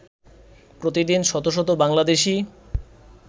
প্রতিদিন শত শত বাংলাদেশী